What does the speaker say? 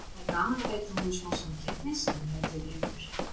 Það er gaman að veita honum smá samkeppni, sagði Hörður léttur.